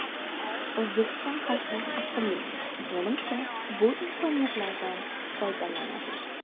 O‘zbekiston xalqi aqlli, menimcha, bu imkoniyatlardan foydalanadi.